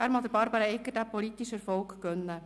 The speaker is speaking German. Er mag Barbara Egger diesen politischen Erfolg gönnen.